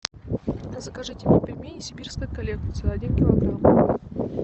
закажите мне пельмени сибирская коллекция один килограмм